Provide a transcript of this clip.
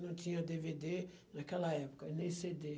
Não tinha dê vê dê naquela época, nem cê dê.